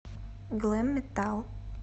глэм метал